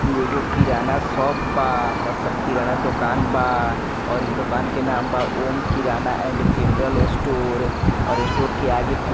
इ एगो किराना शॉप बा मतलब किराना दोकान बा और इ दुकान के नाम बा ॐ किराना एंड जनरल स्टोर और स्टोर के आगे कुछ --